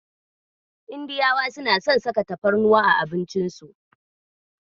Indiyawa suna son saka tafarnuwa a abincin su.